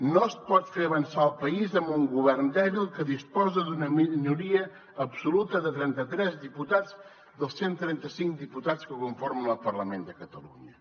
no es pot fer avançar el país amb un govern dèbil que disposa d’una minoria absoluta de trenta tres diputats dels cent i trenta cinc diputats que conformen el parlament de catalunya